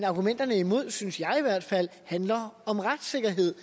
argumenterne imod synes jeg i hvert fald handler om retssikkerhed